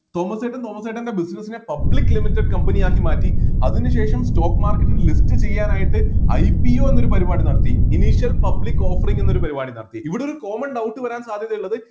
Thomas ചേട്ടൻ തോമസ് ചേട്ടൻ്റെ business നെ public limited company ആക്കി മാറ്റി അതിനു ശേഷം stock market list ചെയ്യാനായിട്ട് IPO എന്നൊരു പരിപാടി നടത്തി public offering എന്നൊരു പരിപാടി നടത്തി ഇവിടെ ഒരു common doubt വരാൻ സാധ്യതയുള്ളത്